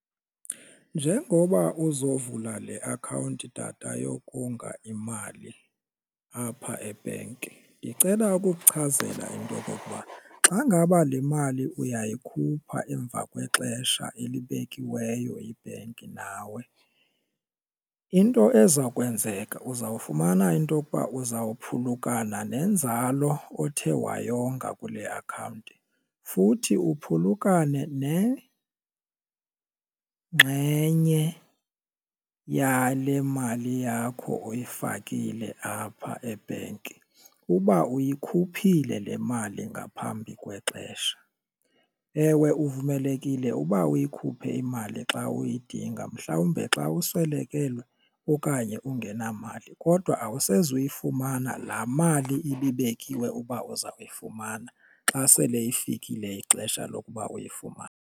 Njengoba uzovula le akhawunti tata yokonga imali apha ebhenki ndicela ukuchazela into okokuba xa ngaba le mali uyayikhupha emva kwexesha elibekiweyo yibhenki nawe, into eza kwenzeka uzawufumana into okuba uzawuphulukana nenzalo othe wayonga kule akhawunti futhi uphulukane nengxenye yale mali yakho oyifakile apha ebhenki. Uba uyikhuphile le mali ngaphambi kwexesha ewe uvumelekile uba uyikhuphe imali xa uyidinga mhlawumbe xa uswelekelwe okanye ungenamali kodwa awusezi uyifumana laa mali ibibekiwe uba uzawuyifumana xa sele ifikile ixesha lokuba uyifumane.